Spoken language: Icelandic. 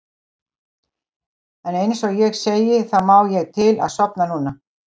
En einsog ég segi þá má ég til að sofna núna.